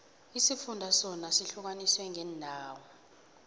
isifunda sona sihlukaniswe ngeendawo